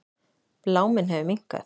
Bláminn hefur minnkað.